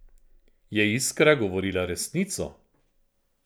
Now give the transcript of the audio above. Je Iskra govorila resnico?